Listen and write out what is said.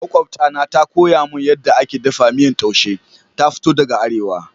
Makwabta na ta koya mun yadda ake daffa miyan taushe. Ta fito daga arewa.